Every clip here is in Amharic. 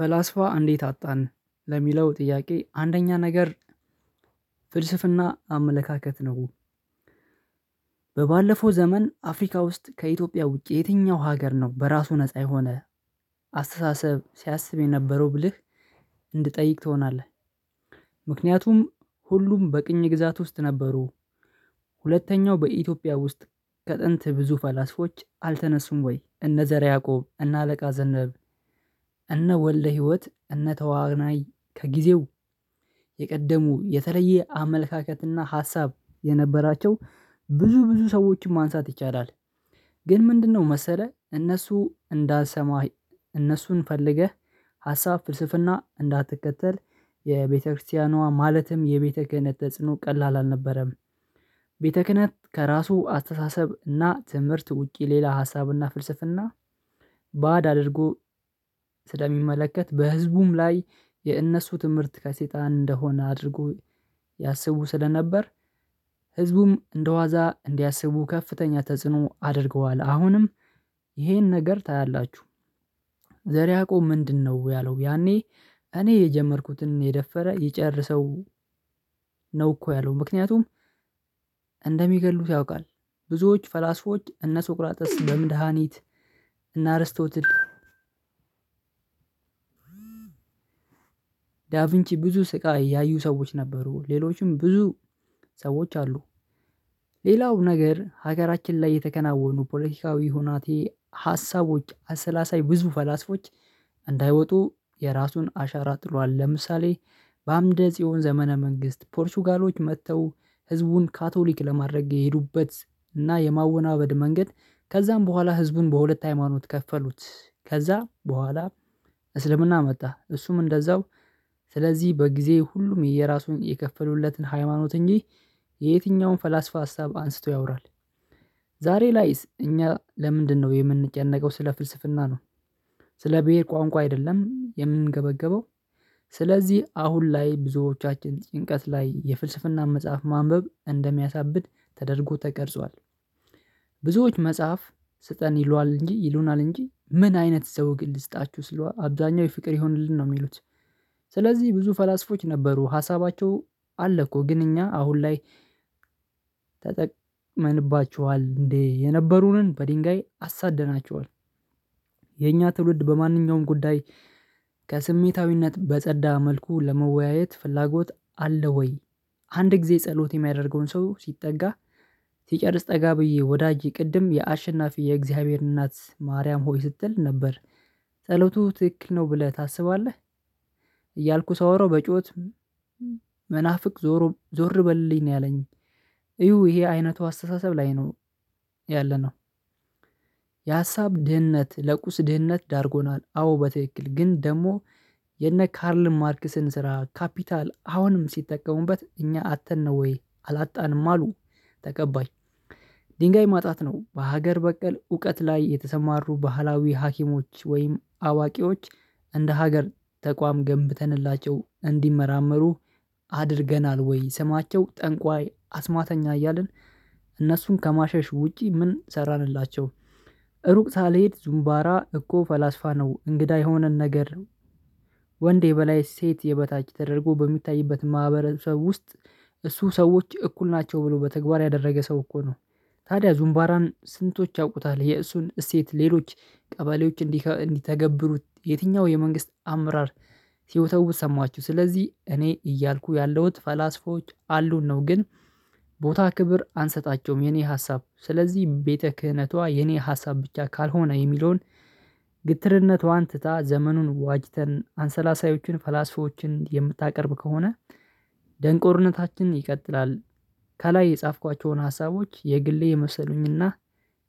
ፈላስፋ እንዴት አጣን ለሚለው ጥያቄ አንደኛ ነገር ፍልስፍና አመለካከት ነው። በባለፈው ዘመን አፍሪካ ውስጥ ከኢትዮጵያ ውጪ የትኛው ሀገር ነው? በራሱ ነፃ የሆነ አስተሳሰብ ሲያስብ የነበረው ብልህ እንድትጠይቅ ትሆናለህ። ምክንያቱም ሁሉም በቅኝ ግዛት ውስጥ ነበሩ። ሁለተኛው በኢትዮጵያ ውስጥ ከጥንት ብዙ ፈላስፎች አልተነሱም ወይ? እነ ዘረ ያዕቆብ እነ አለቃ ዘነብ እነ ወለደ ህይወት እነ ተዋናይ ከጊዜው የቀደሙ የተለየ አመለካከት እና ሀሳብ የነበራቸው ብዙ ብዙ ሰዎችን ማንሳት ይቻላል። ግን ምንድነው መሰለህ? እነሱ እንዳንሰማህ እነሱን ፈልገህ ሀሳብ ፍልስፍና እንዳትከተል የቤተክርስቲያኗ ማለትም የቤተ ክህነት ተጽዕኖ ቀላል አልነበረም። ቤተ ክህነት ከራሱ አስተሳሰብ እና ትምህርት ውጪ ሌላ ሀሳብ እና ፍልስፍና። ባድ አድርጎ ስለሚመለከት በህዝቡም ላይ የእነሱ ትምህርት ከሰይጣን እንደሆነ አድርጎ ያሰቡ ስለነበር ህዝቡም እንደዋዛ እንዲያስቡ ከፍተኛ ተጽዕኖ አድርገዋል። አሁንም ይሄን ነገር ታያላችሁ። ዘር ያዕቆብ ምንድነው ያለው ያኔ እኔ የጀመርኩትን የደፈረ ይጨርሰው። ነው እኮ ያለው ምክንያቱም እንደሚገድሉት ያውቃል። ብዙዎች ፈላስፎች እነ ሶቅራጥስ በምድሃኒት እና አርስቶል ዳቪንቺ ብዙ ስቃይ ያዩ ሰዎች ነበሩ። ሌሎችም ብዙ ሰዎች አሉ። ሌላው ነገር ሀገራችን ላይ የተከናወኑ ፖለቲካዊ ሁናቴ ሀሳቦች አሰላሳይ ብዙ ፈላስፎች እንዳይወጡ የራሱን አሻራ ጥሏል። ለምሳሌ በአምደ ጽዮን ዘመነ መንግስት ፖርቹጋሎች መጥተው ህዝቡን ካቶሊክ ለማድረግ የሄዱበት እና የማወናበድ መንገድ ከዛም በኋላ ህዝቡን በሁለት ሃይማኖት ከፈሉት ከዛ በኋላ እስልምና መጣ እሱም እንደዛው ስለዚህ በጊዜ ሁሉም የየራሱን የከፈሉለትን ሃይማኖት እንጂ የየትኛውም ፈላስፋ ሀሳብ አንስቶ ያወራል። ዛሬ ላይስ እኛ ለምንድነው የምንጨነቀው ስለ ፍልስፍና ነው። ስለ ብሄር ቋንቋ አይደለም የምንገበገበው። ስለዚህ አሁን ላይ ብዙዎቻችን ጭንቀት ላይ የፍልስፍና መጽሐፍ ማንበብ እንደሚያሳብድ ተደርጎ ተቀርጿል። ብዙዎች መጽሐፍ ስጠን ይሏል እንጂ ይሉናል እንጂ ምን አይነት ሰው ግል ልስጣችሁ ስለው አብዛኛው የፍቅር ይሆንልን ነው የሚሉት። ስለዚህ ብዙ ፈላስፎች ነበሩ ሀሳባቸው አለ እኮ ግን እኛ አሁን ላይ? ተጠቅመንባችኋል እንዴ የነበሩንን በድንጋይ አሳደናቸውን። የኛ ትውልድ በማንኛውም ጉዳይ ከስሜታዊነት በጸዳ መልኩ ለመወያየት ፍላጎት አለ ወይ? አንድ ጊዜ ጸሎት የሚያደርገውን ሰው ሲጠጋ ሲጨርስ ጠጋ ብዬ ወዳጄ ቅድም የአሸናፊ የእግዚአብሔር እናት ማርያም ሆይ ስትል ነበር። ጸሎቱ ትክክል ነው ብለህ ታስባለህ? እያልኩ ሳወራው በጩኸት መናፍቅ ዞሮ ዞር በልኝ ነው ያለኝ። እዩ ይሄ አይነቱ አስተሳሰብ ላይ ነው ያለነው። የሀሳብ ድህነት ለቁስ ድህነት ዳርጎናል። አዎ በትክክል ግን ደግሞ የነ ካርል ማርክስን ስራ ካፒታል አሁንም ሲጠቀሙበት እኛ አጥተን ነው ወይ አላጣንም አሉ? ተቀባይ ድንጋይ ማጣት ነው። በሀገር በቀል እውቀት ላይ የተሰማሩ ባህላዊ ሀኪሞች ወይም አዋቂዎች እንደ ሀገር ተቋም ገንብተንላቸው እንዲመራመሩ? አድርገናል ወይ? ስማቸው ጠንቋይ አስማተኛ እያልን እነሱን ከማሸሽ ውጪ ምን ሰራንላቸው? ሩቅ ሳልሄድ ዙምባራ እኮ ፈላስፋ ነው እንግዳ የሆነን ነገር ነው። ወንዴ በላይ ሴት የበታች ተደርጎ በሚታይበት ማህበረሰብ ውስጥ እሱ ሰዎች እኩል ናቸው ብሎ በተግባር ያደረገ ሰው እኮ ነው። ታዲያ ዙምባራን ስንቶች ያውቁታል? የእሱን እሴት ሌሎች ቀበሌዎች እንዲተገብሩት የትኛው የመንግስት አመራር ሲወተውት ሰማችሁ? ስለዚህ እኔ እያልኩ ያለሁት ፈላስፎች አሉን ነው። ግን ቦታ ክብር አንሰጣቸውም። የኔ ሀሳብ ስለዚህ ቤተ ክህነቷ የኔ ሀሳብ ብቻ ካልሆነ የሚለውን ግትርነቷን ትታ ዘመኑን ዋጅተን አንሰላሳዮችን ፈላስፎችን የምታቀርብ ከሆነ። ደንቆርነታችን ይቀጥላል። ከላይ የጻፍኳቸውን ሀሳቦች የግሌ የመሰሉኝና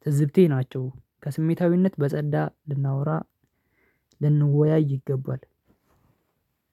ትዝብቴ ናቸው። ከስሜታዊነት በጸዳ ልናወራ ልንወያይ ይገባል።